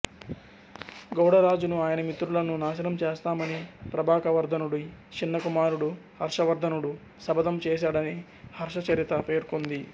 గౌడ రాజును ఆయన మిత్రులను నాశనం చేస్తామని ప్రభాకరవర్ధనుడి చిన్న కుమారుడు హర్షవర్ధనుడు శపథం చేశాడని హర్షచరిత పేర్కొంది